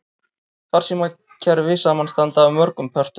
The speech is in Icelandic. Farsímakerfi samanstanda af mörgum pörtum.